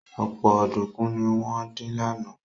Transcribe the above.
Ọ̀pọ̀ ọ̀dùnkún ni wọ́n dín lánàá